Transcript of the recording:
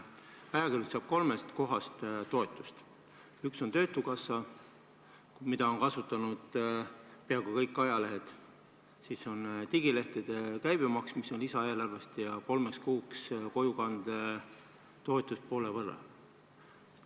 Ajakirjandus saab kolmest kohast toetust: üks on töötukassa, mida on kasutanud peaaegu kõik ajalehed, siis digilehtede käibemaks, mis tuleb lisaeelarvest, ja kolmeks kuuks kojukandetoetus poole summa võrra.